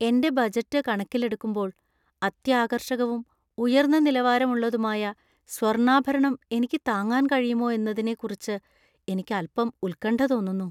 എന്‍റെ ബജറ്റ് കണക്കിലെടുക്കുമ്പോൾ, അത്യാകര്‍ഷകവും, ഉയർന്ന നിലവാരമുള്ളതുമായ സ്വർണാഭരണം എനിക്ക് താങ്ങാൻ കഴിയുമോ എന്നതിനെക്കുറിച്ച് എനിക്ക് അൽപ്പം ഉത്കണ്ഠ തോന്നുന്നു.